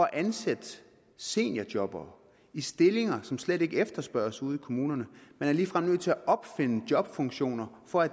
at ansætte seniorjobbere i stillinger som slet ikke efterspørges ude i kommunerne man er ligefrem nødt til at opfinde jobfunktioner for at